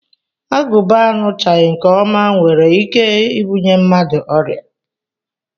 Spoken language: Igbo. Agụba aṅụchaghị nke ọma nwere ike ibunye mmadụ ọrịa